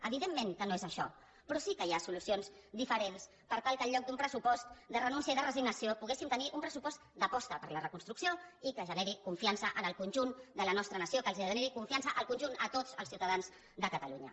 evidentment que no és això però sí que hi ha solucions diferents per tal que en lloc d’un pressupost de renúncia i de resignació poguéssim tenir un pressupost d’aposta per la reconstrucció i que generi confiança en el conjunt de la nostra nació que generi confiança en el conjunt a tots els ciutadans de catalunya